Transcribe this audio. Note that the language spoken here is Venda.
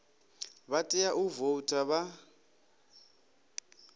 vha tea u voutha vha